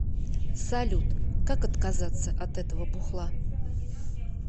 салют как отказаться от этого бухла